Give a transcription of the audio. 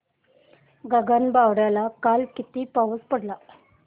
गगनबावड्याला काल किती पाऊस पडला